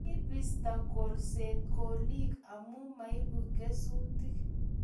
Kibisto kolset kolik amu maibu kesutik